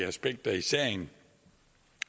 aspekter i sagen